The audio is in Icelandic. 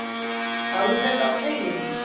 Alveg á tauginni.